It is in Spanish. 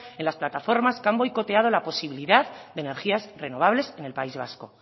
en las plataformas que han boicoteado la posibilidad de energías renovables en el país vasco